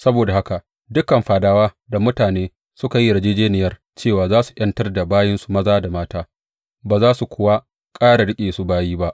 Saboda haka dukan fadawa da mutane suka yi yarjejjeniyar cewa za su ’yantar da bayinsu maza da mata ba za su kuwa ƙara riƙe su bayi ba.